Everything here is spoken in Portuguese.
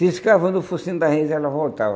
Tiscava no focinho da e ela voltava.